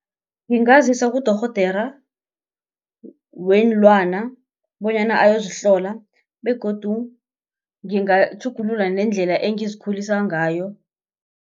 Ngingazisa kudorhodera weenlwana bonyana ayozihlola begodu ngingatjhugulula nendlela engizikhulilisa ngayo.